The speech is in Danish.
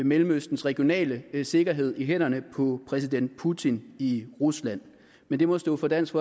mellemøstens regionale sikkerhed i hænderne på præsident putin i rusland men det må stå for dansk